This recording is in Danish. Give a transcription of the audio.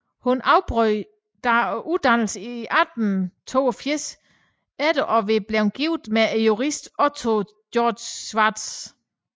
Hun afbrød dog uddannelsen i 1882 efter at være blevet gift med juristen Otto Georg Schwartz